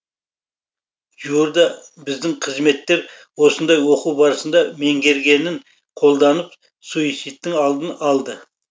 жуырда біздің қызметкер осындай оқу барысында меңгергенін қолданып суицидтің алдын алды